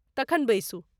तखन बैसू।